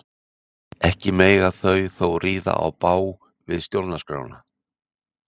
ekki mega þau þó ríða í bág við stjórnarskrána